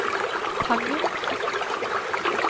Tangen